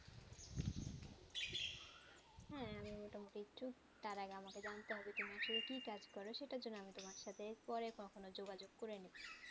তার আগে আমাকে কে জানতে হবে তুমি আসলে কি কাজ করো সেটা জন্যে আমি তোমার সাথে পরে কখন যোগাযোগ করে নিবো